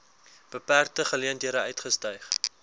beperkte geleenthede uitgestyg